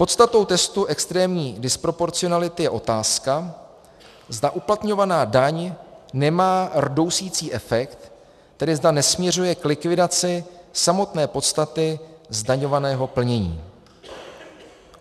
Podstatou testu extrémní disproporcionality je otázka, zda uplatňovaná daň nemá rdousicí efekt, tedy zda nesměřuje k likvidaci samotné podstaty zdaňovaného plnění.